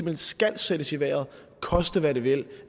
hen skal sættes i vejret koste hvad det vil